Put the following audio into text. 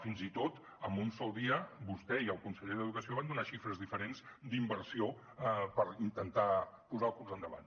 fins i tot en un sol dia vostè i el conseller d’educació van donar xifres diferents d’inversió per intentar posar el curs endavant